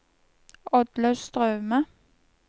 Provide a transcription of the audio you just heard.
Oddlaug Straume